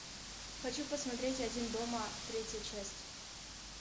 хочу посмотреть один дома третья часть